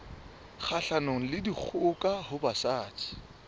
kgahlanong le dikgoka ho basadi